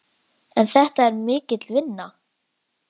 En þetta er mikil vinna.